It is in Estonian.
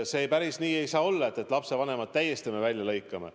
Päris nii ei saa olla, et me lapsevanemad täiesti välja lõikame.